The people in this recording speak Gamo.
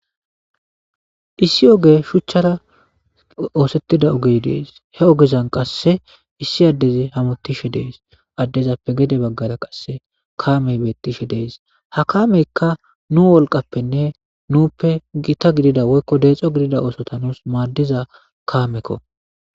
issi oge shuchchara oosettida ogey dees he ogezan qasse issi addezi hamutishe dees addezappe gede baggara qasse kaamey bettishe dees ha kaameykka nu wolqappenne nuuppe gita gidida woykko deexo gidida oosota nus maaddiza kaamekko